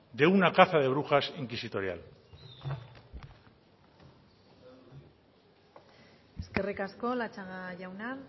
de una caza de brujas inquisitorial eskerrik asko latxaga jauna